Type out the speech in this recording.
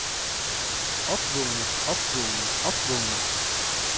opvågnen opvågnen opvågnen